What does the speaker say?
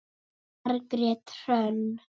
Margrét Hrönn.